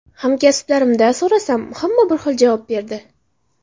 Hamkasblarimda so‘rasam, hamma har xil javob berdi.